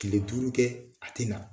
Kile duuru kɛ a tɛna na